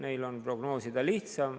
Siin on prognoosida lihtsam.